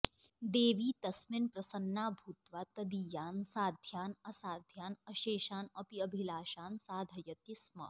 देवी तस्मिन् प्रसन्ना भूत्वा तदीयान् साध्यान् असाध्यान् अशेषान् अपि अभिलाषान् साधयति स्म